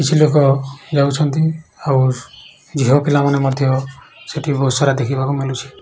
କିଛି ଲୋକ ଯାଉଛନ୍ତି ଆଉ ଝିଅ ପିଲା ମାନେ ସେଠି ବହୁତ୍ ସାରା ଦେଖିବାକୁ ମିଲୁଛି ।